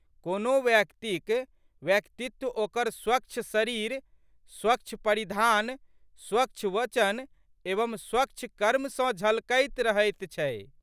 कोनो व्हक्तिक व्यक्तित्व ओकर स्वच्छ शरीर, स्वच्छ परिधान, स्वच्छ वचन एवं स्वच्छ कर्म सँ झलकैत रहैत छै।